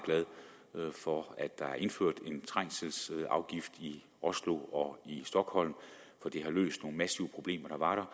glade for at der er indført en trængselsafgift i oslo og i stockholm for det har løst nogle massive problemer